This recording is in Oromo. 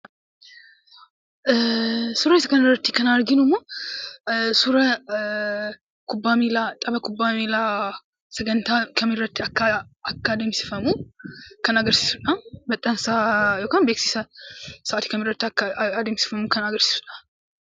Suuraa isa kana irratti kan arginu immoo, suuraa taphaa kubbaa millaa sagantaa kam irratti akka addemsifamu kan agarsisuudha. Maxxansaa yookaan beekisa sa'atii kam irratti akka addemsifamuu kan agarsisuudha.